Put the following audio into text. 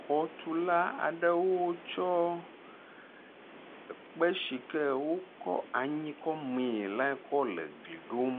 Xɔtula aɖewo tsɔ ekpe si ke wokɔ anyi kɔ mẽe la kɔ le gli ɖom.